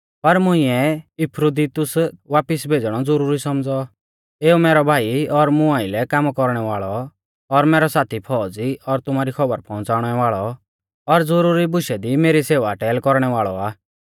पर मुंइऐ इपफ्रुदीतुस तुमु काऐ वापिस भेज़णौ ज़रुरी सौमझ़ौ एऊ मैरौ भाई और मुं आइलै कामा कौरणै वाल़ौ और मैरौ साथी फौज़ी और तुमारी खौबर पौउंच़ाउणै वाल़ौ और ज़ुरुरी बुशै दी मेरी सेवा टहल कौरणै वाल़ौ आ